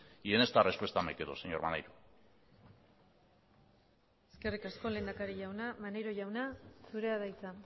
y en esta respuesta me quedo señor maneiro eskerrik asko lehendakari jauna maneiro jauna zurea da hitza